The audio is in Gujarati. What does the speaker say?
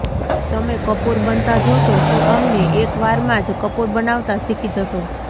તમે કપૂર બનતા જોશો તો અમને એક વારમાંજ કપૂર બનાવતા શીખી જશો